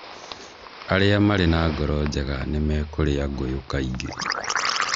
Arĩa marĩ na ngoro njega nĩ mekũrĩa ngũyũ kaingĩ.